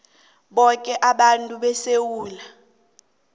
boke abantu besewula